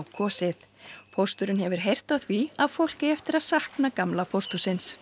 kosið pósturinn hefur heyrt af því að fólk eigi eftir að sakna gamla pósthússins